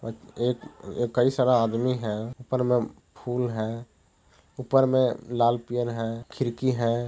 ओर एक कई सारा आदमी है ऊपर में फुल है ऊपर में लाल पेन है खिरकी हैं।